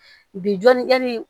Bi jɔnni yali